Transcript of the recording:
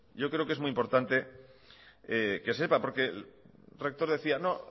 yo creo que es muy importante que sepa porque el rector decía no